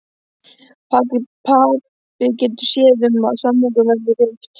Pabbi getur séð um, að samningnum verði rift